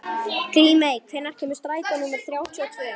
Grímey, hvenær kemur strætó númer þrjátíu og tvö?